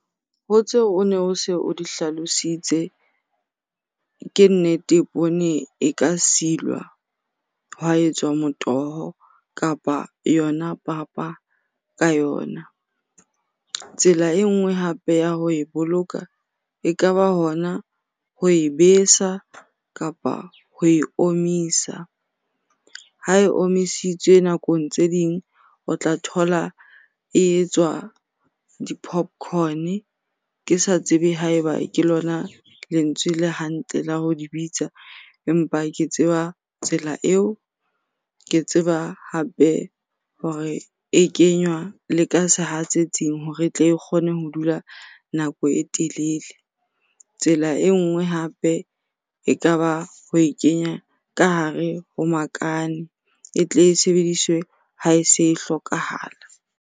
Ho tseo o ne o se o di hlalositse, ke nnete, poone e ka silwa ha etswa motoho kapa yona papa ka yona. Tsela e nngwe hape ya ho e boloka, ekaba hona ho e besa kapa ho e omisa. Ha e omisitswe nakong tse ding o tla thola e etswa di-popcorn, ke sa tsebe ha eba ke lona lentswe le hantle la ho di bitsa empa ke tseba tsela eo. Ke tseba hape hore e kenywa le ka sehatsetsing hore e tle e kgone ho dula nako e telele. Tsela e nngwe hape e ka ba ho e kenya ka hare ho makane e tle e sebediswe ha e se e hlokahala.